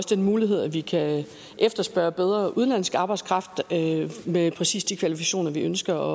den mulighed at vi kan efterspørge bedre udenlandsk arbejdskraft med præcis de kvalifikationer vi ønsker